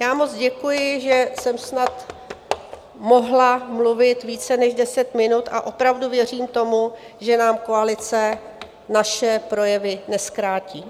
Já moc děkuji, že jsem snad mohla mluvit více než deset minut, a opravdu věřím tomu, že nám koalice naše projevy nezkrátí.